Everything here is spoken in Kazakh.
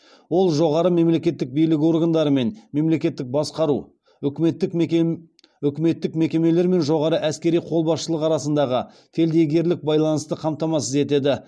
ол жоғары мемлекеттік билік органдары мен мемлекеттік басқару үкіметтік мекемелер мен жоғары әскери қолбасшылық арасындағы фельдъегерлік байланысты қамтамасыз етеді